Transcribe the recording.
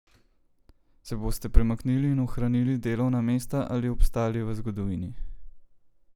Se boste premaknili in ohranili delovna mesta ali obstali v zgodovini?